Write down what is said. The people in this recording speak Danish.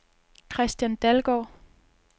Kristian Dalgaard